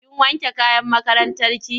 Kin wanke kayan makarantarki?